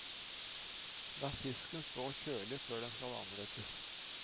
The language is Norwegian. La fisken stå kjølig før den skal anrettes.